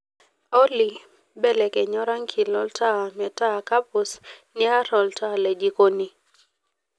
olly belekenya orangi lontaa metaa kapuz niar olntaa le jikoni